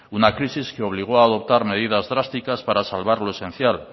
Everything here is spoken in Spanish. una crisis que obligó a adoptar medidas drásticas para salvar lo esencial